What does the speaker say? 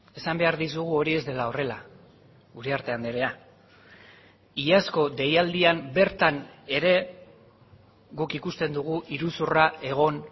esan behar dizugu hori ez dela horrela uriarte andrea iazko deialdian bertan ere guk ikusten dugu iruzurra egon